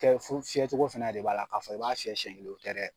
fiyɛ cogo fana de b'a la ka fɔ i b'a fiyɛ siyɛn kelen o tɛ dɛ.